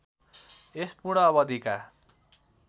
यस पूर्ण अवधिका